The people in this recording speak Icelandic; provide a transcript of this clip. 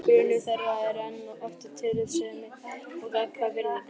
Grunnur þeirra er enn og aftur tillitssemi og gagnkvæm virðing.